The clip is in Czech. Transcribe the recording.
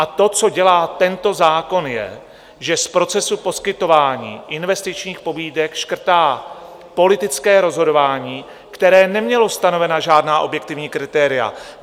A to, co dělá tento zákon, je, že z procesu poskytování investičních pobídek škrtá politické rozhodování, které nemělo stanovena žádná objektivní kritéria.